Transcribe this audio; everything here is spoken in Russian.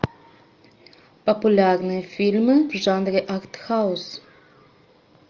популярные фильмы в жанре артхаус